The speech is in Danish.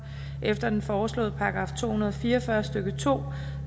efter den foreslåede § to hundrede og fire og fyrre stykke to